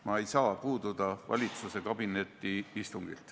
Ma ei saa puududa valitsuse kabinetiistungilt.